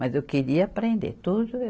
Mas eu queria aprender tudo.